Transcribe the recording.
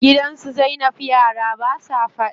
Gidan su zainab yara basa faɗa.